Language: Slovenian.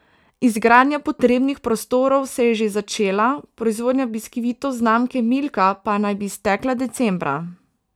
Izgradnja potrebnih prostorov se je že začela, proizvodnja biskvitov znamke Milka pa naj bi stekla decembra.